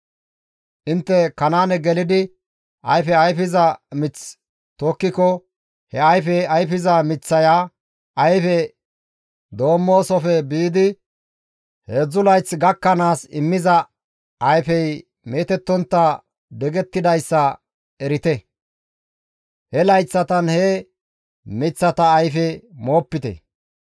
« ‹Intte Kanaane gelidi ayfe ayfiza mith tokkiko he ayfe ayfiza miththaya ayfe doommoosofe biidi heedzdzu layth gakkanaas immiza ayfey meetettontta digettidayssa erite; he layththatan he miththata ayfe moopite.